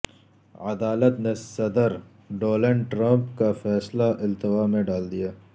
عدالت نے صدر ڈونلڈ ٹرمپ کا فیصلہ التوا میں ڈال دیا